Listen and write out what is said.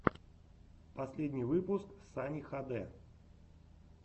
последний выпуск сани хд